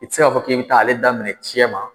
I tɛ se k'a fɔ k'i bɛ taa ale daminɛ cɛma